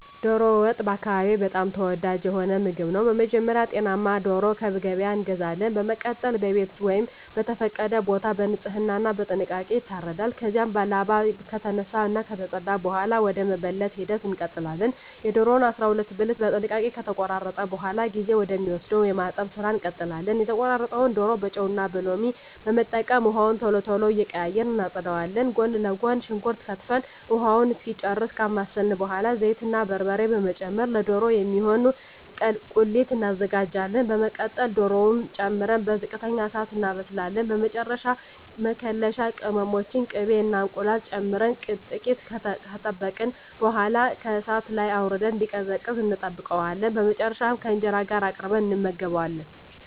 ዶሮ ወጥ በአካባቢየ በጣም ተወዳጅ የሆነ ምግብ ነው። በመጀመሪያ ጤናማ ዶሮ ከገበያ እንገዛለን። በመቀጠል በቤት ወይም በተፈቀደ ቦታ በንጽህና እና በጥንቃቄ ይታረዳል። ከዚያም ላባው ከተነሳ እና ከተፀዳ በኃላ ወደ መበለት ሂደት እንቀጥላለን። የዶሮውን 12 ብልት በጥንቃቄ ከተቆራረጠ በኃላ ጊዜ ወደ ሚወስደው የማጠብ ስራ እንቀጥላለን። የተቆራረጠውን ዶሮ በጨው እና ሎሚ በመጠቀም ውሃውን ቶሎ ቶሎ እየቀያየርን እናፀዳዋለን። ጎን ለጎን ሽንኩርት ከትፈን ውሃውን እስኪጨርስ ካማሰልን በኃላ ዘይት እና በርበሬ በመጨመር ለዶሮ የሚሆን ቁሌት እናዘጋጃለን። በመቀጠል ዶሮውን ጨምረን በዝቅተኛ እሳት እናበስላለን። በመጨረሻ መከለሻ ቅመሞችን፣ ቅቤ እና እንቁላል ጨምረን ጥቂት ከጠበቅን በኃላ ከእሳት ላይ አውርደን እንዲቀዘቅዝ እንጠብቀዋለን። በመጨረሻም ከእንጀራ ጋር አቅርበን እንመገባለን።